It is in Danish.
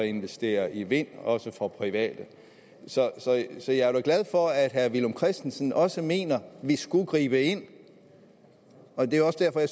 investere i vind også for private så så jeg er da glad for at herre villum christensen også mener at vi skulle gribe ind det er også derfor at